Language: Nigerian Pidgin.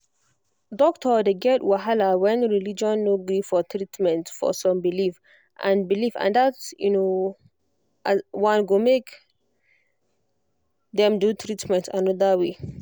doctor dey get wahala when religion no gree for treatment for some belief and belief and that one go make dem do treatment another way